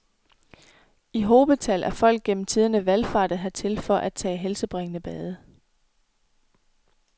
I hobetal er folk gennem tiderne valfartet hertil for at tage helsebringende bade.